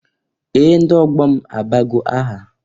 Ee! Ndị ọgbọ m abago aha.